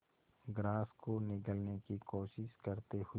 grass को निगलने की कोशिश करते हुए